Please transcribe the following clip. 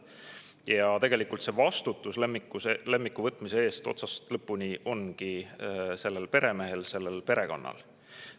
Ja tegelikult vastutus lemmiku võtmise eest ongi otsast lõpuni sellel peremehel, sellel perekonnal.